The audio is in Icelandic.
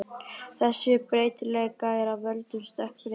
Þessi breytileiki er af völdum stökkbreytinga.